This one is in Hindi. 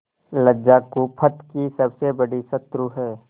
लज्जा कुपथ की सबसे बड़ी शत्रु है